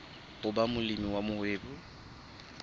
ho ba molemi wa mohwebi